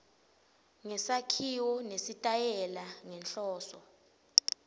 ngesakhiwo nesitayela ngenhloso